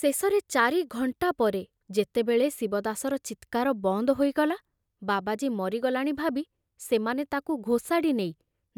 ଶେଷରେ ଚାରି ଘଣ୍ଟା ପରେ ଯେତେବେଳେ ଶିବଦାସର ଚିତ୍କାର ବନ୍ଦ ହୋଇଗଲା, ବାବାଜୀ ମରିଗଲାଣି ଭାବି ସେମାନେ ତାକୁ ଘୋଷାଡ଼ି ନେଇ